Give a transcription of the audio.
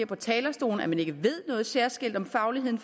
fra talerstolen at man ikke ved noget særskilt om fagligheden